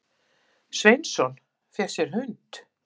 Sveinsson, fékk sér hund.